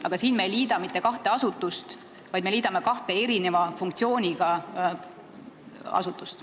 Aga siin me ei liida mitte lihtsalt kahte asutust, vaid me liidame kahte erineva funktsiooniga asutust.